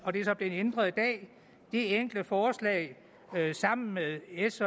og det er så blevet ændret i dag det enkelte forslag sammen med s